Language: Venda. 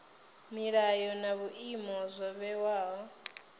milayo na vhuimo zwo vhewaho